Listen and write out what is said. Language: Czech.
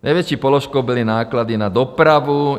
Největší položkou byly náklady na dopravu.